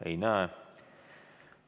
Ei soovi.